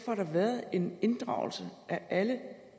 har der været en inddragelse af alle